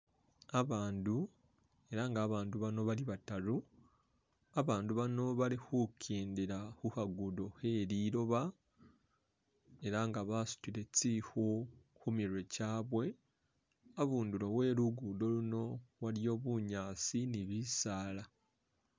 Abandu ela nga abandu bano bali badaru abandu bano bali khugendela khukhagudo khe liloba ela nga basudile tsikhu khumirwe gyabwe habunduli we'lugudo luno waliyo bunyaasi ni bisaala.